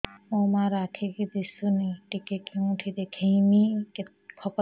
ମୋ ମା ର ଆଖି କି ଦିସୁନି ଟିକେ କେଉଁଠି ଦେଖେଇମି କଖତ